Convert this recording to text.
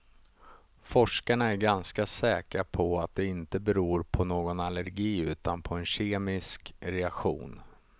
Forskarna är ganska säkra på att det inte beror på någon allergi utan på en kemisk reaktion.